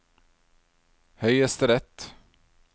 høyesterett